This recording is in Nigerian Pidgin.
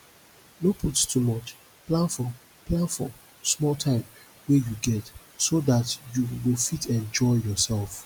no put too much plan for plan for small time wey you get so dat you go go fit enjoy yourself